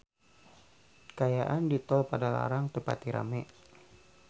Kaayaan di Tol Padalarang teu pati rame